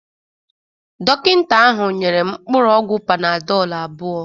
Dọkịta ahụ nyere m mkpụrụ ọgwụ panadol abụọ.